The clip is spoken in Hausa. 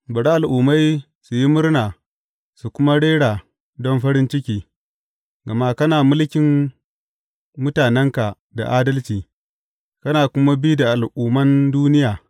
Bari al’ummai su yi murna su kuma rera don farin ciki, gama kana mulkin mutanenka da adalci kana kuma bi da al’umman duniya.